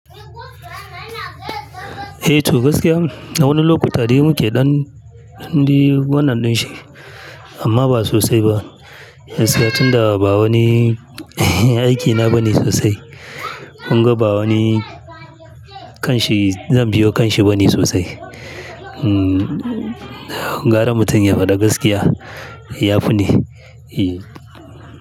Eh to gaskiya, a wani lokuta dai muke ɗan dai wannan ɗin shi amma ba sosai ba. Gaskiya tunda ba wani aikina ba ne sosai. Kunga ba wani kanshi zan biyo kanshi ba ne sosai. Hmmm gara mutum ya faɗi gaskiya, ya fi ne. Eyy.